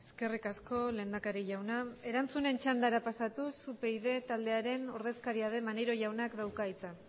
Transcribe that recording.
eskerrik asko lehendakari jauna erantzunen txandara pasatuz upyd taldearen ordezkaria den maneiro jaunak dauka hitza